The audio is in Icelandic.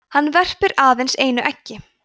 hann verpir aðeins einu eggi